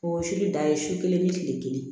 O sili da ye su kelen ni kile kelen